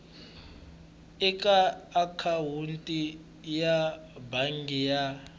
eka akhawunti ya bangi ya